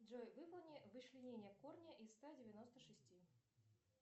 джой выполни вычленение корня из ста девяноста шести